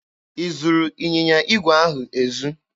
I zuru ịnyịnya igwe ahụ ezu?